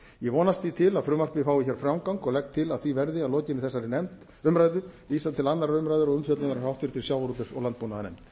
ég vonast því til að frumvarpið fái hér framgang og legg til að því verði að lokinni þessari umræðu vísað til annarrar umræðu og umfjöllunar hjá háttvirtum sjávarútvegs og landbúnaðarnefnd